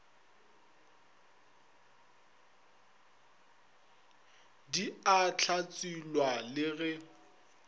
di a hlatselwa le ge